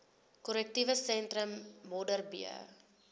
korrektiewe sentrum modderbee